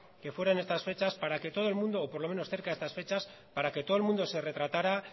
que fuera en estas fechas para que todo el mundo o por lo menos cerca de estas fechas para que todo el mundo se retratara